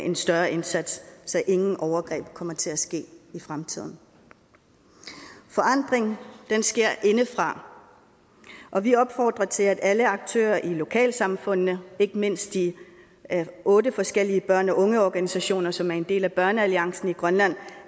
en større indsats så ingen overgreb kommer til at ske i fremtiden forandring sker indefra og vi opfordrer til at alle aktører i lokalsamfundene ikke mindst de otte forskellige børn og unge organisationer som er en del af børnealliancen i grønland